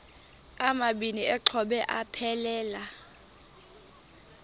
amabini exhobe aphelela